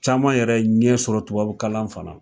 Caman yɛrɛ ye ɲɛ sɔrɔ tubabu kalan fana na